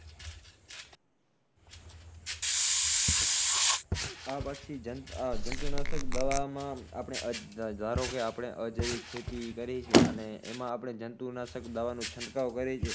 હા પછી જંતુનાશક દવામાં આપણે અ ધ ધારો કે આપડે અજૈવિક ખેતી કરી છી અને એમાં આપડે જંતુનાશક દવાનો છટકાવ કરી છી